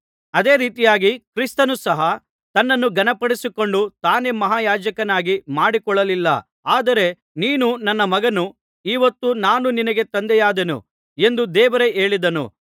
ಅದೇ ರೀತಿಯಾಗಿ ಕ್ರಿಸ್ತನು ಸಹ ತನ್ನನ್ನು ಘನಪಡಿಸಿಕೊಂಡು ತಾನೇ ಮಹಾಯಾಜಕನನ್ನಾಗಿ ಮಾಡಿಕೊಳ್ಳಲಿಲ್ಲ ಆದರೆ ನೀನು ನನ್ನ ಮಗನು ಈ ಹೊತ್ತು ನಾನು ನಿನಗೆ ತಂದೆಯಾದೆನು ಎಂದು ದೇವರೇ ಹೇಳಿದನು